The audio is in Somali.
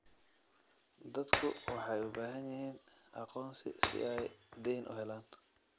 Dadku waxay u baahan yihiin aqoonsi si ay dayn u helaan.